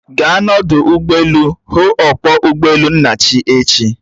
Gaa n'odu ụgbọelu hụụ ọkpọ ụgbọelu Nnachi echi!